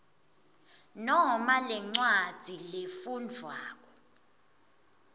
noma lencwadzi lefundvwako